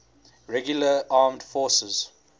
regular armed forces